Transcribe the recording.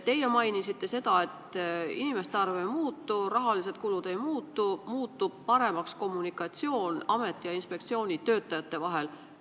Teie mainisite, et inimeste arv ei muutu, rahalised kulud ei muutu, paremaks muutub kommunikatsioon ameti ja inspektsiooni töötajate vahel.